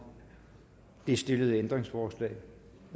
det stillede ændringsforslag